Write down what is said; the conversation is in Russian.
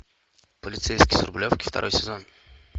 полицейский с рублевки второй сезон